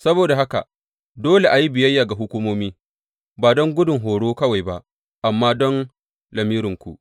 Saboda haka, dole a yi biyayya ga hukumomi, ba don gudun horo kawai ba amma don lamirinku.